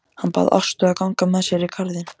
Hann bað Ástu að ganga með sér í garðinn.